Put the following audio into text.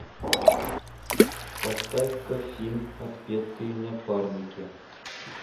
поставь ка фильм отпетые напарники